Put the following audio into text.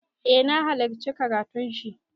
Eh na halarci karatun shi.